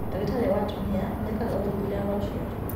Ndagĩtarĩ wa atumia nĩekaga ũthuthuria wa ũciari